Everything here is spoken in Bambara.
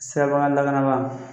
Sirabakan lakana ba